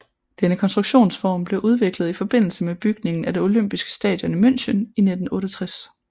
Denne konstruktionsform blev udviklet i forbindelse med bygningen af det olympiske stadion i München i 1968